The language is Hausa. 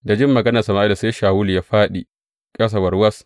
Da jin maganar Sama’ila sai Shawulu ya faɗi ƙasa warwas.